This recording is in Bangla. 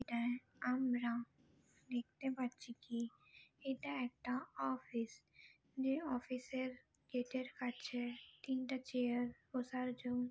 এটায় আমরা দেখতে পাচ্ছি কি এটা একটা অফিস । যে অফিসের গেটের কাছে তিনটে চেয়ার বসার জন্য--